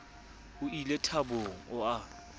o ie thabong o a